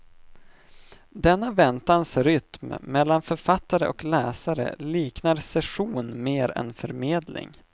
Denna väntans rytm mellan författare och läsare liknar session mer än förmedling.